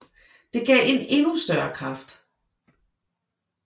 Det gav en endnu større kraft